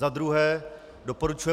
Za druhé doporučuje